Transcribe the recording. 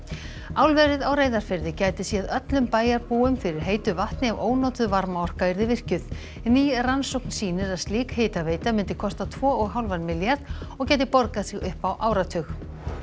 álverið á Reyðarfirði gæti séð öllum bæjarbúum fyrir heitu vatni ef ónotuð varmaorka yrði virkjuð ný rannsókn sýnir að slík hitaveita myndi kosta tvo hálfan milljarð og gæti borgað sig upp á áratug